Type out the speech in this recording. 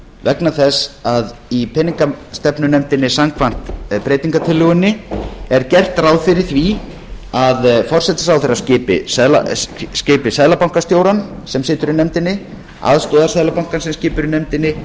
vegna þess að í peningastefnunefndinni samkvæmt breytingartillögunni er gert ráð fyrir því að forsætisráðherra skipi seðlabankastjórann sem situr í nefndinni aðstoðarseðlabankastjórann sem situr í nefndinni